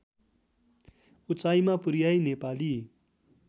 उचाइमा पुर्‍याई नेपाली